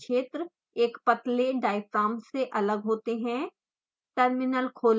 दोनों दाब क्षेत्र एक पतले diaphragm से अलग होते हैं